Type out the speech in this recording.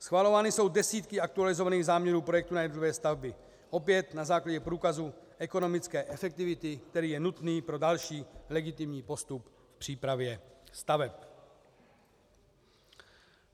Schvalovány jsou desítky aktualizovaných záměrů projektů na jednotlivé stavby, opět na základě průkazu ekonomické efektivity, který je nutný pro další legitimní postup v přípravě staveb.